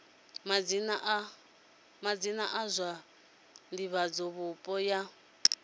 madzina a zwa divhavhupo ya